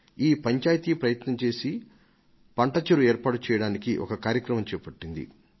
ఈ పంచాయతీ ప్రయత్నం చేసి పంట చెరువును ఏర్పాటు చేయడానికి ఒక కార్యక్రమాన్ని చేపట్టింది